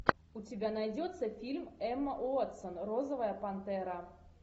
у тебя найдется фильм эмма уотсон розовая пантера